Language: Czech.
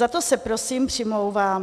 Za to se prosím přimlouvám.